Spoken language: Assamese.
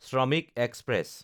শ্ৰমিক এক্সপ্ৰেছ